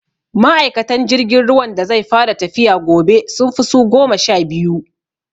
Ma'aikatan jirgin ruwan da zai fara tafiya gobe, sun fi su goma sha biyu.